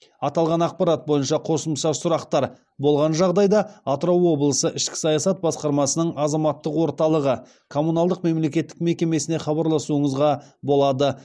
аталған ақпарат бойынша қосымша сұрақтар болған жағдайда атырау облысы ішкі саясат басқармасының азаматтық орталығы коммуналдық мемлекеттік мекемесіне хабарласуыңызға болады